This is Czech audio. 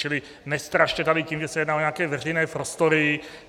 Čili nestrašte tady tím, že se jedná o nějaké veřejné prostory.